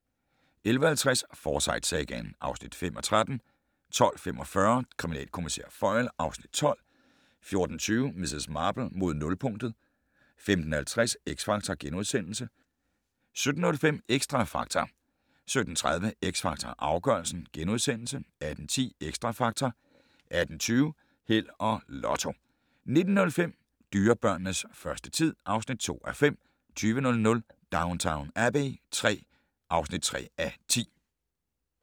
11:50: Forsyte-sagaen (5:13) 12:45: Kriminalkommissær Foyle (Afs. 12) 14:20: Miss Marple: Mod nulpunktet 15:50: X Factor * 17:05: Xtra Factor 17:30: X Factor Afgørelsen * 18:10: Xtra Factor 18:20: Held og Lotto 19:05: Dyrebørnenes første tid (2:5) 20:00: Downton Abbey III (3:10)